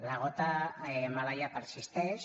la gota malaia persisteix